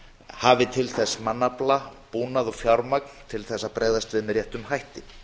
hafi til þess mannafla búnað og fjármagn til að bregðast við með réttum hætti